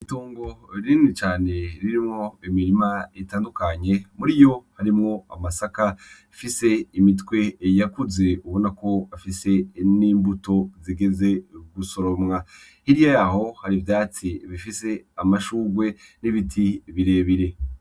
Itongo rini cane ririmwo imirima itandukanye. Muri yo harimwo amasaka afise imitwe yakuze ubona ko afise n'imbuto zigeze gusoromwa. Hirya yaho hari ivyatsi bifise amashugrwe n'ibiti bire bire.